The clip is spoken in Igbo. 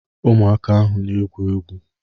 Ụmụaka ahụ na-egwu egwu